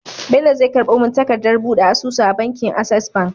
Bello zai karbo mun takadar buɗe asusu a bankin access bank